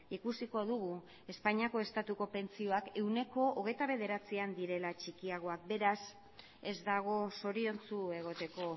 ikusiko dugu espainiako estatuko pentsioak ehuneko hogeita bederatzian direla txikiagoak beraz ez dago zoriontsu egoteko